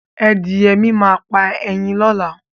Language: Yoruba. Adìyẹ mi máa pa ẹyin lọ́la